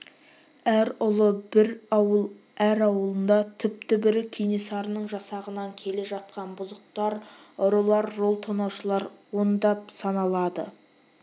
әр ұлы бір ауыл әр ауылында түп-түбірі кенесарының жасағынан келе жатқан бұзықтар ұрылар жол тонаушылар ондап саналады